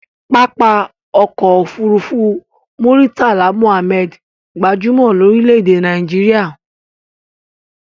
Pápá ọkọ òfúrúúfú Muritala Muhammad gbajúmò lórí lédè ẹ Naijiria